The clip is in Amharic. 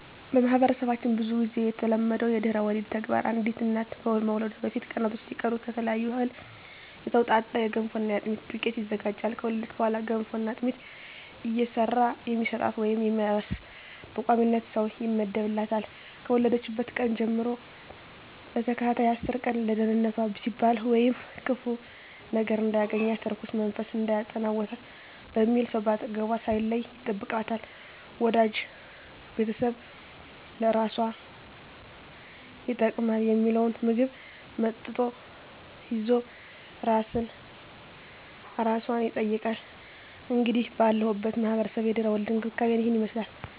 በማህበረሰባችን ብዙ ግዜ የተለመደው የድህረ ወሊድ ተግባር አንዲት እናት ከመውለዷ በፊት ቀናቶች ሲቀሩ ከተለያየ እህል የተውጣጣ የገንፎና የአጥሚት ዱቄት ይዘጋጃል። ከወለደች በኋላ ገንፎና አጥሚት እየሰራ የሚሰጣት ወይም የሚያርስ በቋሚነት ሰው ይመደብላታል፣ ከወለደችበት ቀን ጀም ለተከታታይ አስር ቀን ለደንነቷ ሲባል ወይም ክፉ ነገር እንዳያገኛት(እርኩስ መንፈስ እንዳይጠናወታት) በሚል ሰው ከአጠገቧ ሳይለይ ይጠብቃታል፣ ወዳጅ ቤተሰብ ለአራሷ ይጠቅማል ሚለውን ምግብ እና መጠጥ ይዞ አራሷን ይጠይቃል። እንግዲህ ባለሁበት ማህበረሰብ የድህረ ወሊድ እንክብካቤ እሂን ይመስላል።